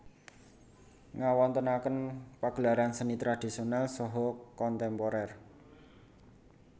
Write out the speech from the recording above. Ngawontenaken pagelaran seni tradisonal saha kontemporer